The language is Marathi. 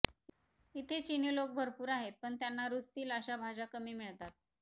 इथे चिनी लोक भरपूर आहेत पण त्यांना रुचतील अशा भाज्या कमी मिळतात